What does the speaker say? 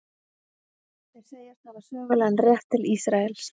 Þeir segjast hafa sögulegan rétt til Ísraels.